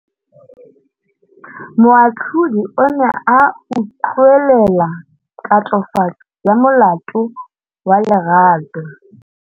Moatlhodi o ne a utlwelela tatofatsô ya molato wa Lerato.